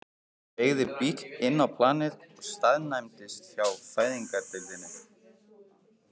Það beygði bíll inn á planið og staðnæmdist hjá fæðingardeildinni.